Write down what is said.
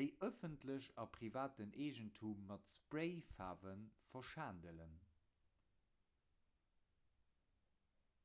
déi ëffentlechen a privaten eegentum mat sprayfaarwe verschandelen